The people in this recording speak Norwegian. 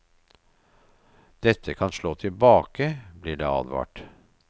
Dette kan slå tilbake, blir det advart.